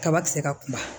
Kaba ti se ka kuma